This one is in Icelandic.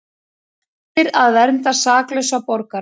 Heitir að vernda saklausa borgara